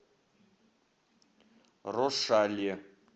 рошале